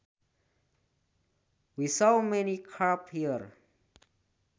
We saw many carp there